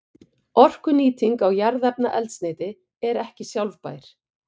Orkunýting á jarðefnaeldsneyti er ekki sjálfbær.